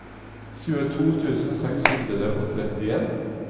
tjueto tusen seks hundre og trettien